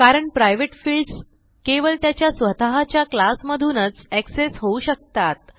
कारण private fields केवळ त्याच्या स्वतःच्या क्लास मधूनच एक्सेस होऊ शकतात